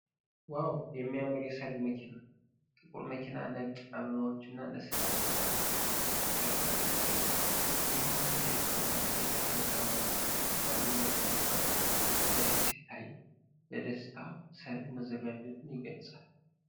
ዋው! የሚያምር የሠርግ መኪና! ጥቁር መኪና ነጭ አበባዎች እና ለስላሳ ጨርቆች ተደርጎበታል። ይህ ሁሉ የፍቅር ማስጌጫ በግራና በቀኝ በኩል ባሉ ነጭ መኪናዎች ፊትለፊት ሲታይ፣ ለደስታ ሰርግ መዘጋጀቱን የገልጻል።